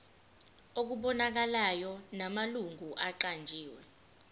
okubonakalayo namalungu aqanjiwe